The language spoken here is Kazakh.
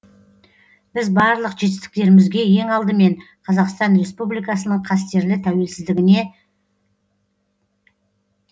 біз барлық жетістіктерімізге ең алдымен қазақстан республикасының қастерлі тәуелсіздігіне